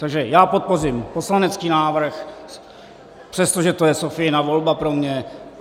Takže já podpořím poslanecký návrh, přestože to je Sophiina volba pro mě.